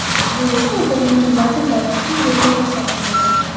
Bu esa o‘ta yengil vazn toifasining rekordi hisoblanadi.